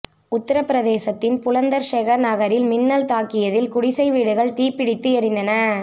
உத்தரப்பிரதேசத்தின் புலந்தர்ஷஹர் நகரில் மின்னல் தாக்கியதில் குடிசை வீடுகள் தீப்பிடித்து எரிந்தன